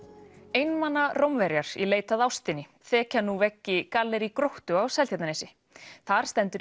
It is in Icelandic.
einmana Rómverjar í leit að ástinni þekja veggi gallerí Gróttu á Seltjarnarnesi þar stendur